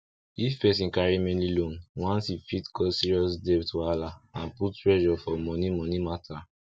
if person carry many loan once e fit cause serious debt wahala and put pressure for moni moni mata